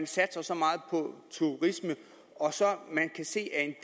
satses så meget på turisme og man kan se at